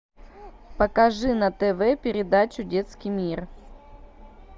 покажи на тв передачу детский мир